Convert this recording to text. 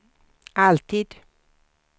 alltid